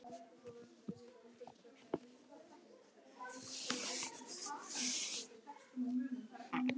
Ekkert að þakka